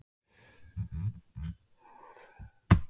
Danía, hvað er jörðin stór?